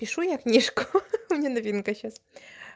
пишу я книжку ха-ха у меня новинка сейчас